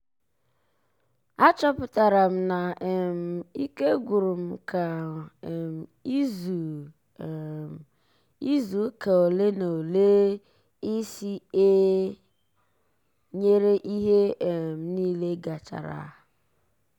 a chọpụtara m na um ike gwụrụ m ka um izu um izu ụka ole na ole ịsị ee nyere ihe um nile gachara